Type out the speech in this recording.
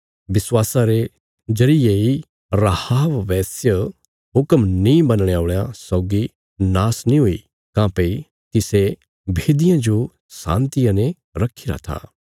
विश्वासा रे जरिये इ राहाब वेश्या हुक्म नीं मनणे औल़यां सौगी नाश नीं हुई काँह्भई तिसे भेदियां जो शान्तिया ने रखीरा था